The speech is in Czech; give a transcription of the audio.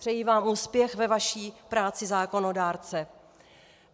Přeji vám úspěch ve vaší práci zákonodárce.